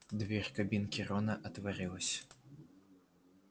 дверь кабинки рона отворилась